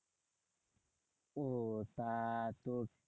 ও তা তো